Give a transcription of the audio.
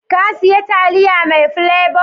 Ka siya taliya mai plebo?